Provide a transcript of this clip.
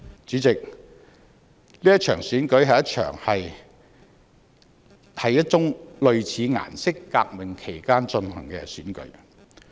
主席，這場選舉是一宗類似"顏色革命"。